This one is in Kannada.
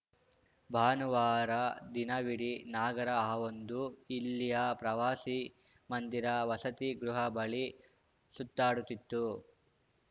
ಬಾನುವಾರ ದಿನವಿಡೀ ನಾಗರ ಹಾವೊಂದು ಇಲ್ಲಿಯ ಪ್ರವಾಸಿ ಮಂದಿರ ವಸತಿ ಗೃಹ ಬಳಿ ಸುತ್ತಾಡುತ್ತಿತ್ತು